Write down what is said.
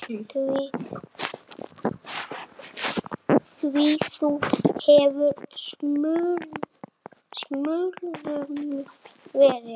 Því þú hefur smurður verið.